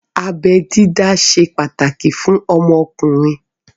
Abẹ dídá ṣe pàtàkì fún ọmọkùnrin